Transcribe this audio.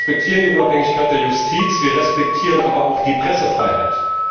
Wir respektieren die Unabhängigkeit der Justiz, wir respektieren aber auch die Pressefreiheit.